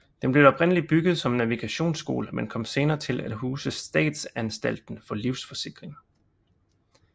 Den blev oprindeligt bygget som navigationsskole men kom senere til at huse Statsanstalten for Livsforsikring